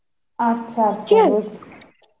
আচ্ছা আচ্ছা